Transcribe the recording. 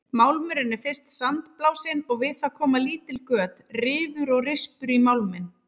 Málmurinn er fyrst sandblásinn og við það koma lítil göt, rifur og rispur í málminn.